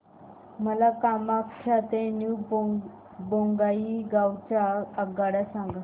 मला कामाख्या ते न्यू बोंगाईगाव च्या आगगाड्या सांगा